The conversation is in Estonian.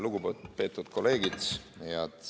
Lugupeetud kolleegid!